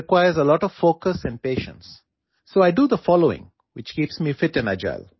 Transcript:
এতিয়া দবা খেলত বহুত একাগ্ৰতা আৰু সহনশীলতাৰ প্ৰয়োজন হয় গতিকে মই নিজকে ফিট আৰু সক্ৰিয় কৰি ৰাখিবলৈ এই কামটো কৰো